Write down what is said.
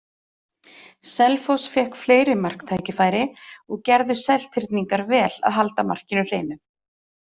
Selfoss fékk fleiri marktækifæri og gerðu Seltirningar vel að halda markinu hreinu.